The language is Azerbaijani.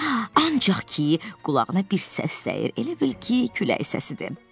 Ancaq ki, qulağına bir səs dəyir, elə bil ki, külək səsidir.